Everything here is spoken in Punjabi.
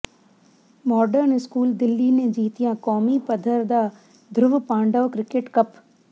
ਮਾਡਰਨ ਸਕੂਲ ਦਿੱਲੀ ਨੇ ਜਿੱਤਿਆ ਕੌਮੀ ਪੱਧਰ ਦਾ ਧਰੁਵ ਪਾਂਡਵ ਕਿ੍ਕਟ ਕੱਪ